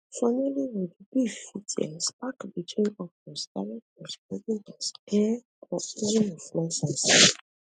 for nollywood beef fit um spark between actors directors producers um or even influencers